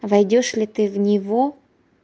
войдёшь ли ты в него